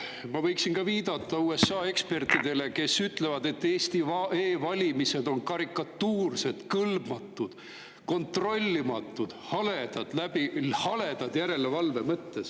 Ma võiksin viidata USA ekspertidele, kes ütlevad, et Eesti e-valimised on karikatuursed, kõlbmatud, kontrollimatud, haledad järelevalve mõttes …